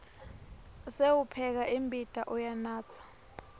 sewupheka imbita uyanatsa